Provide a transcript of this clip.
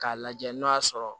K'a lajɛ n'o y'a sɔrɔ